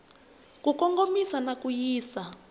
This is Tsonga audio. ku kongomisa na ku yisa